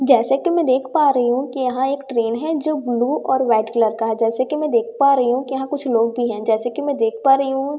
जैसा कि मैं देख पा रही हूं कि यहां एक ट्रेन है जो ब्लू और व्हाइट कलर का हैं जैसा कि मैं देख पा रही हूं यहां कुछ लोग भी हैं जैसा कि मैं देख पा रही हूं कि यहां--